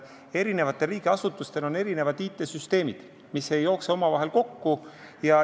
Eri riigiasutustel on erinevad IT-süsteemid, mis ei jookse omavahel kokku.